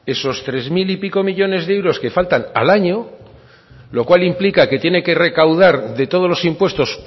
esos tres mil y pico millónes de euros que faltan al año lo cual implica que tiene que recaudar de todos los impuestos